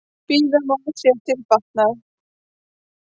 Bíða má sér til batnaðar.